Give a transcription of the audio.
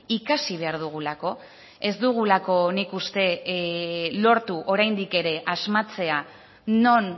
ikasi behar dugulako ez dugulako nik uste lortu oraindik ere asmatzea non